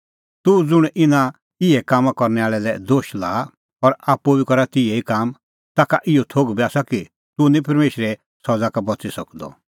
तूह ज़ुंण इना इहै कामां करनै आल़ै लै दोश लाआ और आप्पू बी करा तिहै ई काम ताखा इहअ थोघ बी आसा कि तूह निं परमेशरे सज़ा का बच़ी सकदअ